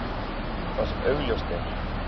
Það sem augljóst er!